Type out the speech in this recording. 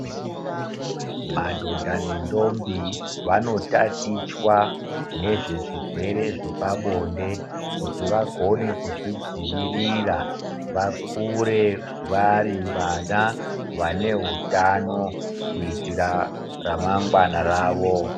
Madhodha nendombi vanotatichwa ngezvezvirwere zvepabonde kuti vagone kuzvidzivirira vakure varivana vaneutano kuitira ramangwana ravo.